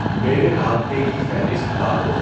میرے رابطے کی فہرست ڈالو